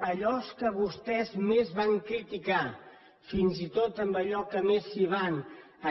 allò que vostès més van criticar fins i tot allò que més s’hi van